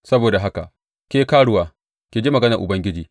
Saboda haka, ke karuwa, ki ji maganar Ubangiji!